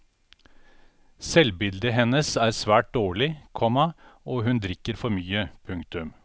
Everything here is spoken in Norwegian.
Selvbildet hennes er svært dårlig, komma og hun drikker for mye. punktum